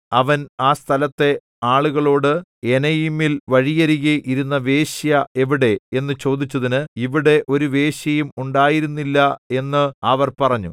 അവൻ ആ സ്ഥലത്തെ ആളുകളോട് എനയീമിൽ വഴിയരികെ ഇരുന്ന വേശ്യ എവിടെ എന്നു ചോദിച്ചതിന് ഇവിടെ ഒരു വേശ്യയും ഉണ്ടായിരുന്നില്ല എന്ന് അവർ പറഞ്ഞു